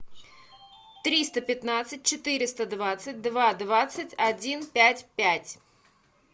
триста пятнадцать четыреста двадцать два двадцать один пять пять